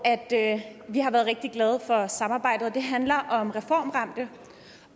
vi har været rigtig glade for samarbejdet og det handler om reformramte